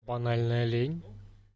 банальная лень